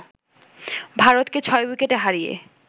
ভারতকে ৬ উইকেটে হারিয়ে